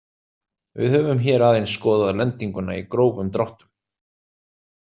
Við höfum hér aðeins skoðað lendinguna í grófum dráttum.